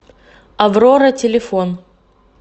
аврора телефон